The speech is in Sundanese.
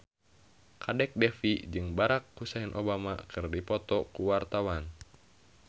Kadek Devi jeung Barack Hussein Obama keur dipoto ku wartawan